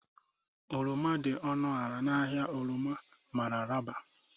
Oroma dị ọnụ ala na ahịa oroma Mararaba